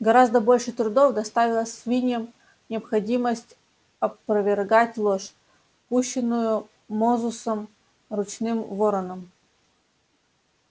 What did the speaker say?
гораздо больше трудов доставила свиньям необходимость опровергать ложь пущенную мозусом ручным вороном